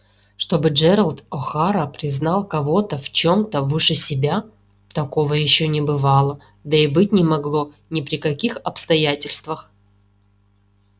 чтобы джералд охара признал кого-то в чём-то выше себя такого ещё не бывало да и быть не могло ни при каких обстоятельствах